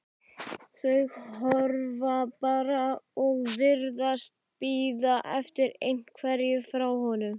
Þau horfa bara og virðast bíða eftir einhverju frá honum.